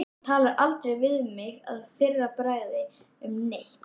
Hann talar aldrei við mig að fyrra bragði um neitt.